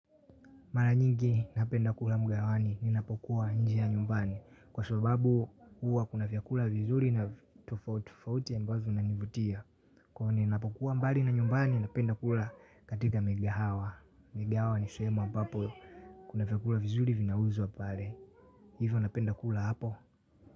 Mara nyingi napenda kula mgawani ninapokuwa nje ya nyumbani. Kwa sababu huwa kuna vyakula vizuri na tofauti ambazo zinanivutia. Kwa ninapokuwa mbali na nyumbani ninapenda kula katika migahawa. Migahawa ni sehemu ambapo kuna vyakula vizuri vinauzwa pale. Hivo napenda kula hapo.